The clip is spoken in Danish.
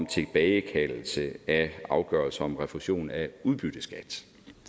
tilbagekaldelse af afgørelser om refusion af udbytteskat